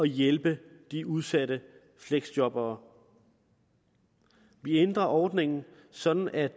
hjælpe de udsatte fleksjobbere vi ændrer ordningen sådan at